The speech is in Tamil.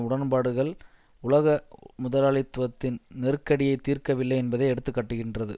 உடன்பாடுகள் உலக முதலாளித்துவத்தின் நெருக்கடியை தீர்க்கவில்லை என்பதை எடுத்து காட்டுகின்றது